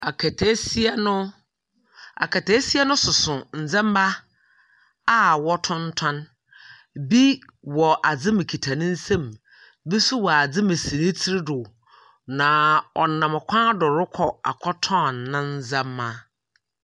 Aketesia no aketesia no soso nneema a wɔtontɔn. Bi wɔ adze mu kita ne nsam. Bi nso wɔ adze mu si tiri do na ɔnam kwan do rekɔ akɔtɔn ne ndzeema.